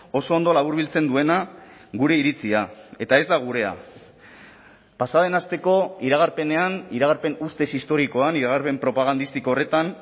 oso ondo laburbiltzen duena gure iritzia eta ez da gurea pasa den asteko iragarpenean iragarpen ustez historikoan iragarpen propagandistiko horretan